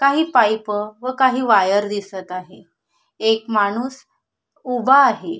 काही पाईप व काही वायर दिसत आहे एक माणूस उभा आहे.